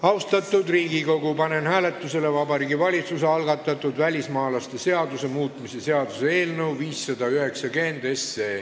Austatud Riigikogu, panen hääletusele Vabariigi Valitsuse algatatud välismaalaste seaduse muutmise seaduse eelnõu 590.